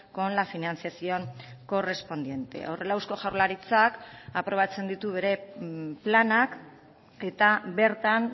con la financiación correspondiente horrela eusko jaurlaritzak aprobatzen ditu bere planak eta bertan